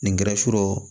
Nin kɛra sɔrɔ